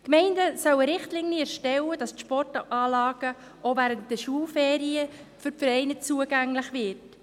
Die Gemeinden sollen Richtlinien erstellen, damit die Sportanlagen auch während der Schulferien für die Vereine zugänglich werden.